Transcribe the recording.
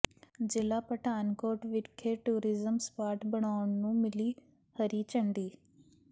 ਜ਼ਿਲ੍ਹਾ ਪਠਾਨਕੋਟ ਵਿਖੇ tourism spot ਬਣਾਉਣ ਨੂੰ ਮਿਲੀ ਹਰੀ ਝੰਡੀ